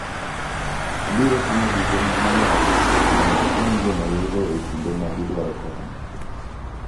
Obiro timo duto manyalo mondo okony joma welo e kinde ma gidwaro kony.